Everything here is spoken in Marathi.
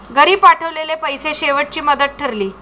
घरी पाठवलेले पैसे, शेवटची मदत ठरली!